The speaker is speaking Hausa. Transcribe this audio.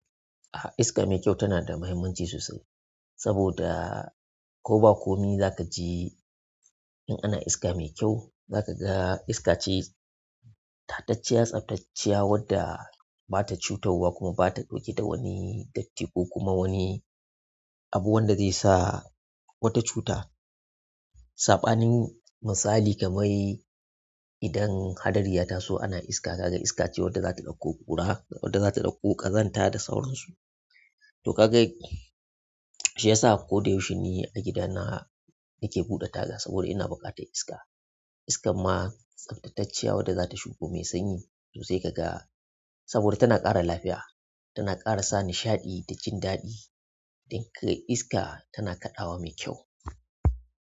A, iska mai kyau tana da mahimmanci sosai saboda ko ba komai zaka ji in ana iska mai kyau zaka ga iska ce tatacciya, tsaftacciya wadda ba ta cutarwa kuma ba ta ɗauke da wani datti ko kuma wani abu wanda zai sa wata cuta. Saɓanin misali kamar idan hadari ya taso ana iska, ka ga iska ce wadda za ta ɗauko ƙura, wadda za ta ɗauko ƙazanta da sauransu. To kaga shi ya sa ko da yaushe ni a gidana nake buɗe taga saboda ina buƙatar iska. Iska ma tsaftatacciya wadda za ta shigo mai sanyi to sai ka ga saboda tana ƙara lafiya, tana ƙara sa nishaɗi da jin daɗi. Duk iska tana kaɗawa mai kyau.